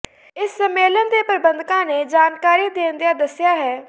ਇਸ ਸੰਮੇਲਨ ਦੇ ਪ੍ਰਬੰਧਕਾਂ ਨੇ ਜਾਣਕਾਰੀ ਦਿੰਦਿਆਂ ਦੱਸਿਆ ਹੈ